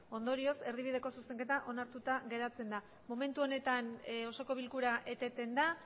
ondorioz erdibideko zuzenketa onartuta geratzen da momentu honetan osoko bilkura eteten da